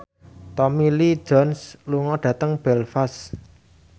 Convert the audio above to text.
Tommy Lee Jones lunga dhateng Belfast